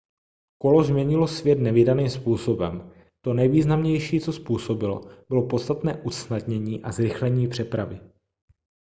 kolo změnilo svět nevídaným způsobem to nejvýznamnější co způsobilo bylo podstatné usnadnění a zrychlení přepravy